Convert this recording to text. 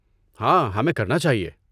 ہاں، ہمیں کرنا چاہیے۔